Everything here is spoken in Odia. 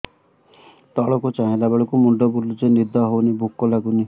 ତଳକୁ ଚାହିଁଲା ବେଳକୁ ମୁଣ୍ଡ ବୁଲୁଚି ନିଦ ହଉନି ଭୁକ ଲାଗୁନି